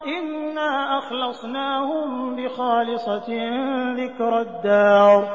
إِنَّا أَخْلَصْنَاهُم بِخَالِصَةٍ ذِكْرَى الدَّارِ